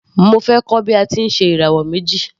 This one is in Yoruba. Mo fẹ́ kọ́ bí a ti ń ṣe ìràwọ̀ méjì.